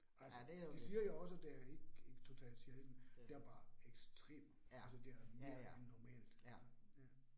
Altså de siger jo også, det er ikke ikke totalt sjældent. Der bare ekstremt, altså det er mere end normalt. Ja